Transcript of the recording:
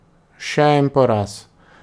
Še en poraz.